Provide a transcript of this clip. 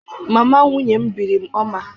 Mama nwunye m biri m ọma.